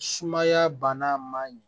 Sumaya bana man ɲɛ